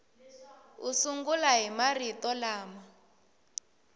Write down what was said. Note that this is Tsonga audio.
u sungula hi marito lama